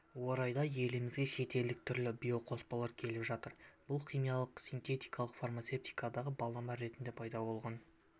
орайда елімізге шетелдік түрлі биоқоспалар келіп жатыр бұл химиялық синтетикалық фармацевтикаға балама ретінде пайда болған